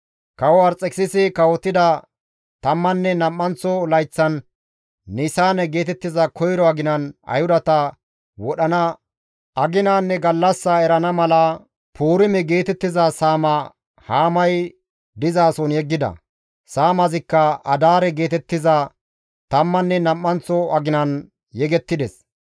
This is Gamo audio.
Kawo Arxekisisi kawotida tammanne nam7anththo layththan, Nisaane geetettiza koyro aginan, Ayhudata wodhana aginanne gallassa erana mala, Puurime geetettiza saama Haamay dizason yeggida. Saamazikka Adaare geetettiza tammanne nam7anththo aginan yegettides.